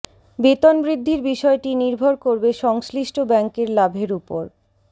বেতন বৃদ্ধির বিষয়টি নির্ভর করবে সংশ্লিষ্ট ব্যাঙ্কের লাভের উপর